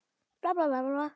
Sindri: Sem þýðir?